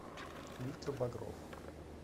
виктор багров